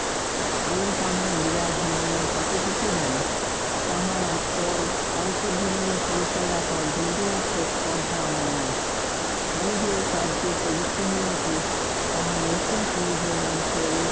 আমি তাহার বিরাট জীবনের কতটুকু জানি? তাহার আত্ম~ অন্তর্জীবনী পরিচয় রাখার বিন্দুমাত্র স্পর্ধা আমার নাই। আমি যে এ কার্যে প্রবৃত্ত হইয়াছি তাহা নিছক নিজের অন্তরে